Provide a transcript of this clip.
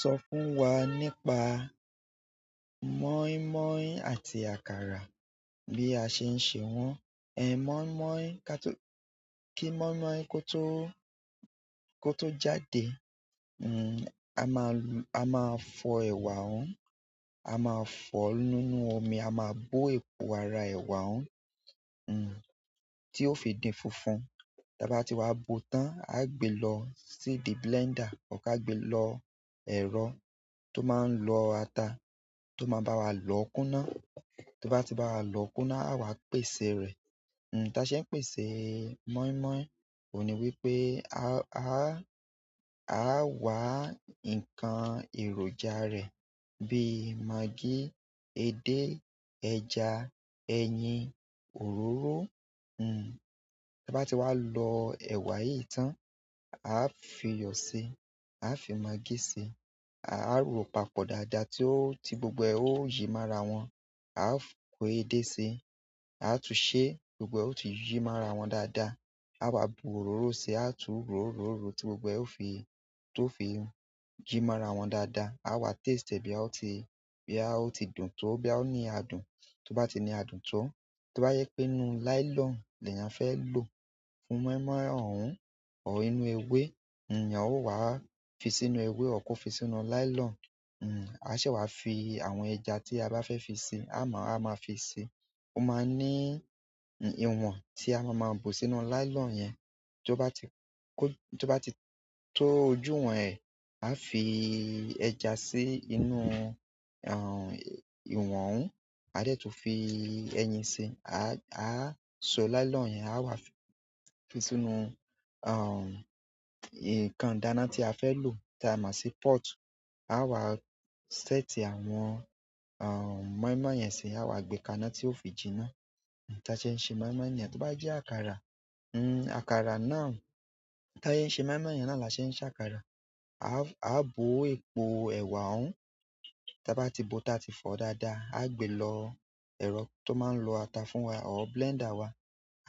Sọ fún wa nípa mọ́ímọ́í àti àkàrà, bí a ṣe ń ṣe wọ́n. Ẹ mọ́ímọ́í, ka ki, kí mọ́ímọ́í kó tó, kó tó jáde, hm, a máa lu-- a máa fọ ẹ̀wà ohun, a máa fọ nínú omi, a máa bó epo ara ẹ̀wà ohun, hm, tí ó fi dii funfun. Tí a bá ti wá bo tán, a gbe lọ sídi blender, ọ̀ ka gbe lọ ẹ̀rọ tó máa ń lọ ata, tó máa bá wa lọ kúná. Tó bá ti bá wa lọ kúná, àwa pèsè rẹ̀. Hm, táa ṣe ń pèsè mọ́ímọ́í òun ni wípé a, a, a wá ǹkan èròjà rẹ̀ bí i maggi, edé, ẹja, ẹyin, òróró, hm. Tí a bá ti wá lọ ẹ̀wà yìí tán, a fi iyọ̀ si, a fi maggi si, a rọ papọ̀ dáadáa tí ó, tí gbogbo ẹ ó yí maa ra wọn, a f, kó edé si, a tún ṣe gbogbo ẹ ó ti yí maa ra wọn dáadáa, a wá bu òróró si, a tún ro ro ro tí gbogbo ẹ ó fi, tó fi yìí maa ra wọn dáadáa, a wá taste e boya ó ti, boya o ti dùn tó, boya ó ní adùn. Tó bá ti ní adùn tó, tó bá yẹ pé inú nylon ni eeyán fẹ́ lò fún mọ́ímọ́í ohun ọ̀ inú ewé, eeyan ó wá fi sínú ewé ọ ko fi sínú nylon. Hm, a se wá fi àwọn ẹja tí a bá fẹ́ fi si, a máa, a máa fi si. Ó máa ń ní ìwọ̀n tí a máa máa bu sínú nylon yẹn. Tó bá ti kó, tó bá ti tó ojú wọn ẹ̀, a fi ẹja sí inú, aah, ìwọ̀n ohun, a dẹ̀ tún fi ẹyin si, a, a sọ nylon yẹn, a wá fi sínú, aah, ǹkan ìdáná tí a fẹ́ lò táa máa sì port. A wá ṣẹ́tì àwọn, aah, mọ́ímọ́í yẹn si, a wá gbé kaná tí ó fi jìná. Táa ṣe ń ṣe mọ́ímọ́í niyen, tó bá jẹ́ àkàrà, hm, àkàrà náà, táa se n ṣe mọ́ímọ́í yen náà là ṣe ń ṣe àkàrà. A á, a bo epo ewa ohun. Tí a bá ti bó táa ti fọ dáadáa, a gbe lọ ẹ̀rọ tó máa ń lọ ata fún wa ọ̀ blender wa.